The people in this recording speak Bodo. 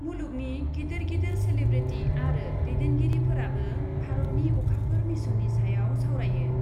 मुलुगनि गिदिर गिदिर सेलेब्रिटि आरो दैदेनगिरिफोराबो भारतनि अखाफोर मिशननि सायाव सावरायो ।